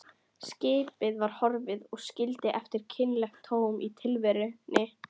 Skipið var horfið og skildi eftir kynlegt tóm í tilverunni.